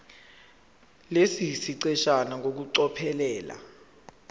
lesi siqeshana ngokucophelela